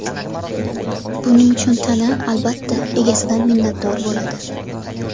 Buning uchun tana, albatta, egasidan minnatdor bo‘ladi”.